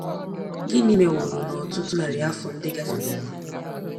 Gịnị meworo na ọtụtụ narị afọ ndị gafeworonụ?